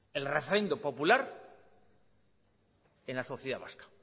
el refrendo popular en la sociedad vasca